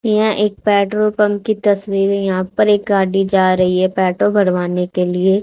यह एक petrol pump की तस्वीर है यहाँ पर एक गाड़ी जा रहीं हैं पेट्रोल भरवाने के लिए।